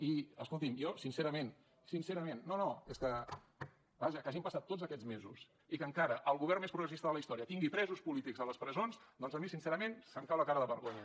i escolti’m jo sincerament tots aquests mesos i que encara el govern més progressista de la història tingui presos polítics a les presons doncs a mi sincerament em cau la cara de vergonya